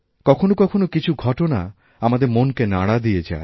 কখনও কখনও কিছু ঘটনা আমাদের মনকে নাড়া দিয়ে যায়